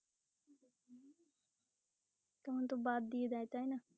তখন তো বাদ দিয়ে দেয় তাই না।